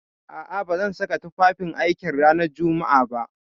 A'a, ba zan saka tufafin aiki ranar Jumma'a ba.